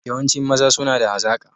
Yawancin maza suna da hazaka